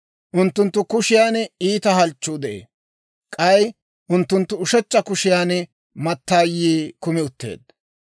Unttunttu kushiyan iita halchchuu de'ee; k'ay unttunttu ushechcha kushiyan mattaayii kumi utteedda.